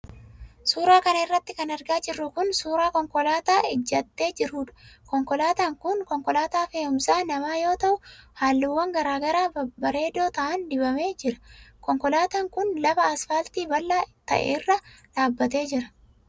Suura kana irratti kan argaa jirru kun, suura konkolaataa ijjatee jiruudha. Konkolaataan kun ,konkolaataa fe'uumsa namaa yoo ta'u, haalluuwwan garaa garaa bareedoo ta'an dibamee jira. Konkolaataan kun ,lafa asfaaltii bal'aa ta'e irra dhaabbatee jira.